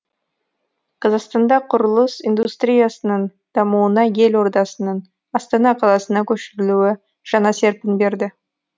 қазақстанда құрылыс индустриясының дамуына ел ордасының астана қаласына көшірілуі жаңа серпін берді